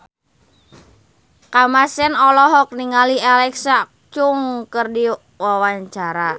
Kamasean olohok ningali Alexa Chung keur diwawancara